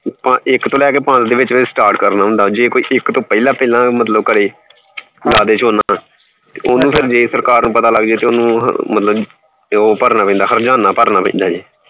ਇਕ ਤੋਂ ਲੈ ਕੇ ਪੰਜ ਦੇ ਵਿਚ ਵਿਚ ਕਰਨਾ ਹੁੰਦਾ ਏ start ਜੇ ਕੋਈ ਇਕ ਤੋਂ ਪਹਿਲਾ ਪਹਿਲਾ ਕਰੇ ਜੇ ਲਾਦੇ ਝੋਨਾ ਓਹਨੂੰ ਫੇਰ ਜੇ ਸਰਕਾਰ ਨੂੰ ਪਤਾ ਲੱਗ ਜੇ ਤੇ ਓਹਨੂੰ ਮਤਲਬ ਤੇ ਓ ਭਰਨਾ ਪੈਂਦਾ ਹਰਜਾਨਾ ਭਰਨਾ ਪੈਂਦਾ ਆ